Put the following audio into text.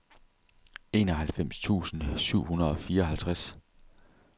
enoghalvfems tusind syv hundrede og fireoghalvtreds